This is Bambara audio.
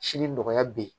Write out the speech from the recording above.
Sini nɔgɔya bɛ yen